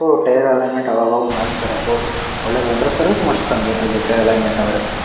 So tyre alignment ಅವಾಗ್ ಅವಾಗ್ ಮಾಡ್ಸತ್ತರೆ ಅಪ್ಪು ಒಳ್ಳೆ ದತ್ರ ಸರ್ವಿಸ್ ಮಾಡ್ಸದಂಗೆ ಅದು ಟೈಯರ್ ಅಲೈನ್ ಮೆಂಟ್ ಅಂದ್ರೆ.